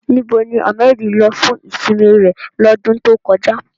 Níbo ni Ahmed lọ fún ìsinmi rẹ̀ lọ́dún tó kọjá?